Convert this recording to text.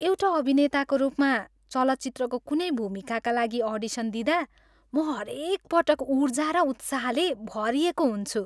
एउटा अभिनेताको रूपमा, चलचित्रको कुनै भूमिकाका लागि अडिसन दिँदा म हरेकपटक ऊर्जा र उत्साहले भरिएको हुन्छु।